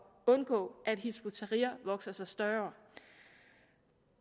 undgå at hizb ut tahrir vokser sig større